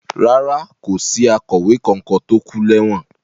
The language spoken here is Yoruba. Rárá, kò sí akọ̀wé kankan tó kú lẹ́wọ̀n.